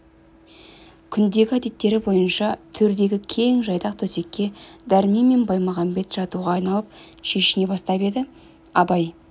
күндегі әдеттері бойынша төрдегі кең жайдақ төсекке дәрмен мен баймағамбет жатуға айналып шешіне бастап еді абай